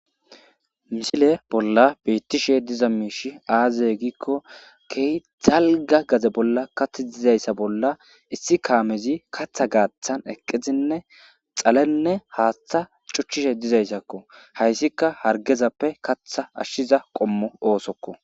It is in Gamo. misile bolla beittishe diza miishi aaze giikko kei zalga gaze bolla kath dizayssa bolla issi kaamezi katha gaaththan eqqizinne xalenne haaththa cuchchishe dizayssakko hayssika hargezappe katha ashshiza qommo oosokko